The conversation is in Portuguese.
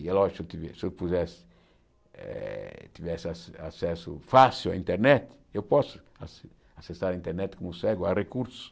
É lógico, que se eu pudesse eh tivesse acesso acesso fácil à internet, eu posso ace acessar a internet como cego, há recursos.